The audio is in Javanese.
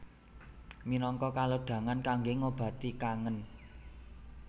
Minangka kalodhangan kangge ngobati kangen